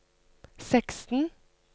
seksten